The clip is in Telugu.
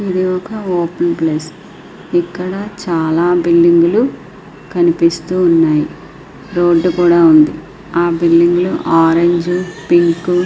ఇది ఒక ఓపెన్ ప్లేస్ . ఇక్కడ చాలా బిల్డింగులు కనిపిస్తున్నాయి. రోడ్డు కూడా బిల్డింగులు ఆరంజ్ పింకు వైట్ --